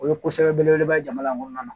O ye kosɛbɛ belebeleba ye jamana in kɔnɔna na